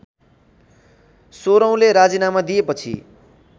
सोर्हौँले राजीनामा दिएपछि